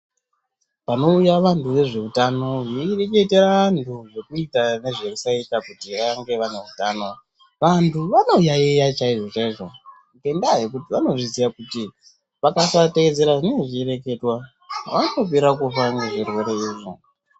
Panouya vantu vezveutano veireketera vantu zvekuita nezvekusaita kuti ange ane utano antu anoyaiya chaizvo chaizvo ngendaa yekuti vanozviziya kuti vakasateedzera zvinenge zvichireketwa vanopera kufa ngezvirwere izvozvo.